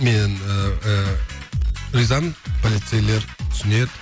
мен ыыы ризамын полицейлер түсінеді